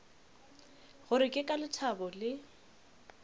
gore ke ka lethabo le